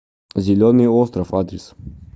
зеленый остров адрес